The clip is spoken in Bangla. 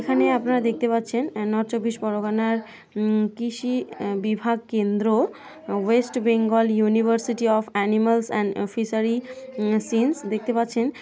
এখানে আপনারা দেখতে পাচ্ছেন আ নর্থ চব্বিশ পরগনার উম কৃষি বিভাগ কেন্দ্র west Bengal university of animals and um fishery -sciences দেখতে পাচ্ছেন।